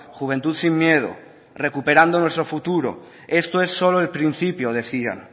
juventud sin miedo recuperando nuestro futuro esto es solo el principio decían